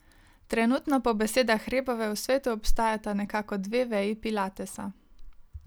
Trenutno po besedah Rebove v svetu obstajata nekako dve veji pilatesa.